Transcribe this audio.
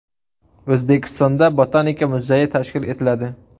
O‘zbekistonda Botanika muzeyi tashkil etiladi.